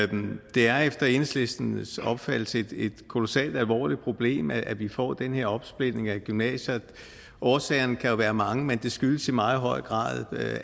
det er efter enhedslistens opfattelse et kolossalt alvorligt problem at vi får den her opsplitning af gymnasier årsagerne kan jo være mange men det skyldes i meget høj grad